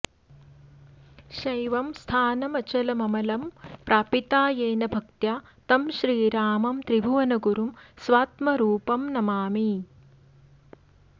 शैवं स्थानमचलममलं प्रापिता येन भक्त्या तं श्रीरामं त्रिभुवनगुरुं स्वात्मरूपं नमामि